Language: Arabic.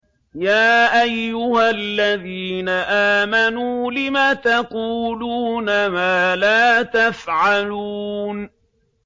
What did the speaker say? يَا أَيُّهَا الَّذِينَ آمَنُوا لِمَ تَقُولُونَ مَا لَا تَفْعَلُونَ